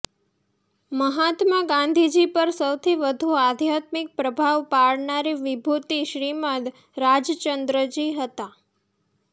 મહાત્મા ગાંધીજી પર સૌથી વધુ આધ્યાત્મિક પ્રભાવ પાડનારી વિભૂતિ શ્રીમદ્ રાજચંદ્રજી હતા